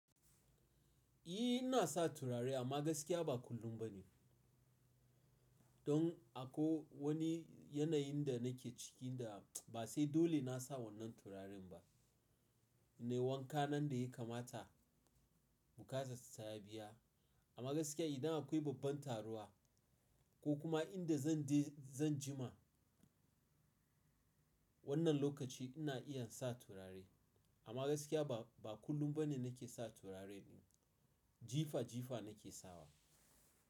Eh ina sa turare amma gaskiya ba kullum ba ne. Don akwai wani yanayin da nake ciki da ba sai dole na sa wannan turaren ba. Nayi wanka na yanda ya kamata bukata ta ta biya. Amma gaskiya idan akwai babban taruwa ko kuma inda zan je zan jima wannan lokaci ina iya sa turare. Amma gaskiya ba, ba kullum ba ne nake sa turare ba. Jifa jifa nake sawa.